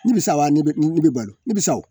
Nimisa wa ne bɛ ne bɛ balo ni sa o